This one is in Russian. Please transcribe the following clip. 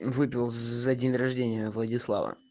выпил за день рождения владислав